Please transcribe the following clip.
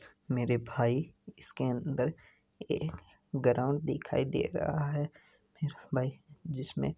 मेरे भाई इसके अंदर एक ग्राउंड दिखाई दे रहा है भाई जिसमे--